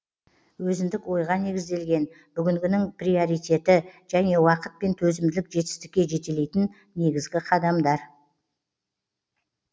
өзіндік ойға негізделген бүгінгінің приоритеті және уақыт пен төзімділік жетістікке жетелейтін негізгі қадамдар